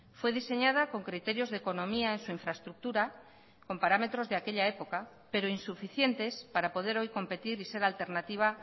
fue diseñada con criterios de economía en su infraestructura con parámetros de aquella época pero insuficientes para poder hoy competir y ser alternativa